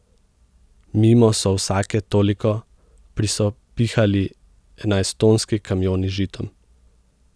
Mimo so vsake toliko prisopihali enajsttonski kamioni z žitom.